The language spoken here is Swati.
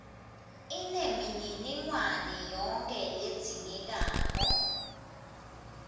inemininingwane yonkhe ledzingekako